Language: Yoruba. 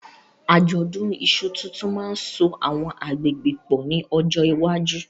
Àjọ̀dún iṣu tuntun máa ń so àwọn agbègbè pọ̀ ní ọjọ́ iwájú.